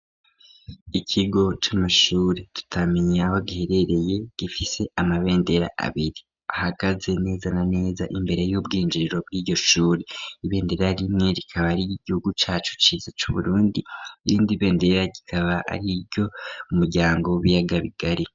Ikigo c'amashuri tutamenye aho giherereye gifise amabendera abiri ahagaze neza na neza imbere y'ubwinjiriro bw'iryo shuri, ibendera rimwe rikaba ari iry'igihugu cacu ciza c'Uburundi, irindi bendera rikaba ari iry'umuryango w'ibiyaga bigari.